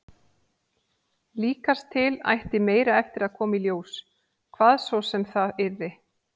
Líkast til ætti meira eftir að koma í ljós, hvað svo sem það yrði.